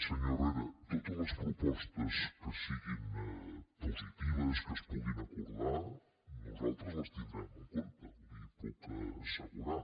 senyor herrera totes les propostes que siguin positives que es puguin acordar nosaltres les tindrem en compte li ho puc assegurar